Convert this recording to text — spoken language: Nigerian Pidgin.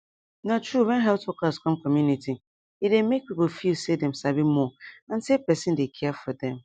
na true when health workers come community e dey make people feel say dem sabi more and say person dey care for dem